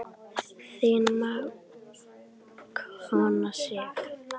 Þín mágkona Sif.